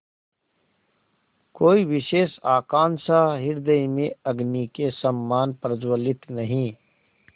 कोई विशेष आकांक्षा हृदय में अग्नि के समान प्रज्वलित नहीं